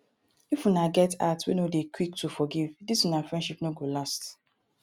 if una get heart wey no dey quick to forgive dis una friendship no go last.